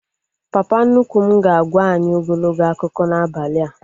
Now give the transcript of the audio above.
Papa nnukwu m ga-agwa anyị ogologo akụkọ n'abalị a